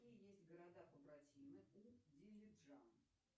какие есть города побратимы у дилижан